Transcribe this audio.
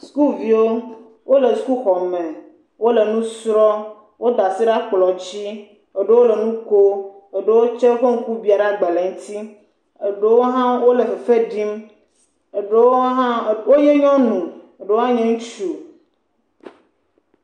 Sukuviwo, wole sukuxɔme wole nu srɔ̃m. Woda asi ɖe akplɔ̃dzi. Eɖewo le nu ko. Eɖewo tsɛ ƒe ŋku biã ɖe agbalẽ ŋti. Eɖewo hã wole fefe ɖim. Eɖewo hã wonye nyɔnu, eɖewo hã nye ŋutsu.